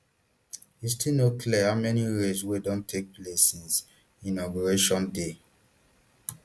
e still no clear how many raids wey don take place since inauguration day